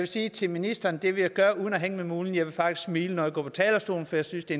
sige til ministeren at det vil jeg gøre uden at hænge med mulen jeg vil faktisk smile når jeg går på talerstolen for jeg synes det